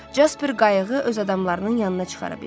Jasper qayıqı öz adamlarının yanına çıxara bildi.